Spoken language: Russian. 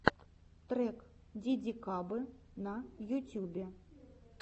трек дидикабы на ютюбе